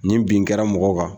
Nin bin kɛra mɔgɔ kan.